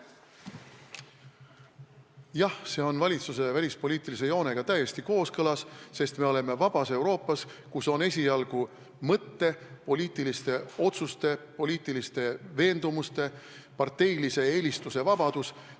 Jah, see on valitsuse välispoliitilise joonega täiesti kooskõlas, sest me elame vabas Euroopas, kus on esialgu mõttevabadus, poliitiliste otsuste, poliitiliste veendumuste ja parteiliste eelistuste vabadus.